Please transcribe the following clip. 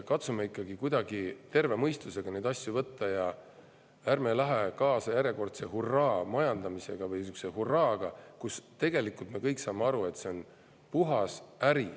Katsume ikka kuidagi terve mõistusega neid asju võtta ja ärme läheme kaasa järjekordse hurraa-majandamisega või sihukese hurraaga, kui tegelikult me kõik saame aru, et see on puhas äri.